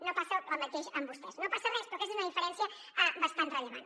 no passa el mateix amb vostès no passa res però aquesta és una diferència bastant rellevant